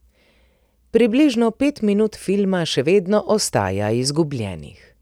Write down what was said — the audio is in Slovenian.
Približno pet minut filma še vedno ostaja izgubljenih.